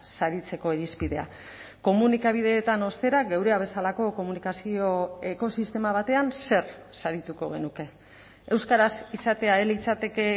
saritzeko irizpidea komunikabideetan ostera geurea bezalako komunikazio ekosistema batean zer sarituko genuke euskaraz izatea ez litzateke